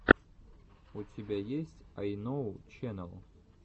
у тебя есть айноу ченэл